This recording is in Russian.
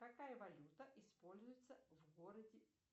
какая валюта используется в городе